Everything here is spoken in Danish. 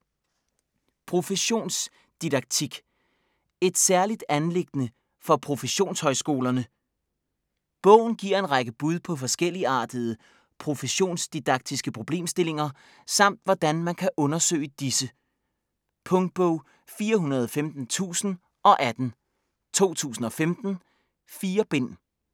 Professionsdidaktik: et særligt anliggende for professionshøjskolerne? Bogen giver en række bud på forskelligartede professionsdidaktiske problemstillinger samt hvordan man kan undersøge disse. Punktbog 415018 2015. 4 bind.